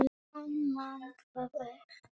Hann man það ekki.